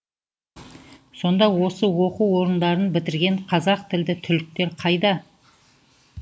сонда осы оқу орындарын бітірген қазақтілді түлектер қайда